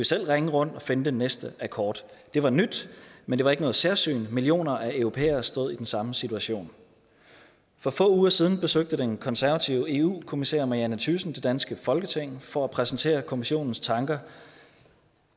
selv ringe rundt og finde den næste akkord det var nyt men det var ikke noget særsyn for millioner af europæere stod i den samme situation for få uger siden besøgte den konservative eu kommissær marianne thyssen det danske folketing for at præsentere kommissionens tanker